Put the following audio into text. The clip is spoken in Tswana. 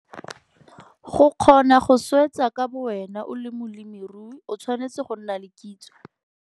Go kgona go swetsa ka bowena o le molemirui o tshwanetse go nna le kitso.